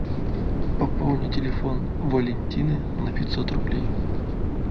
пополни телефон валентины на пятьсот рублей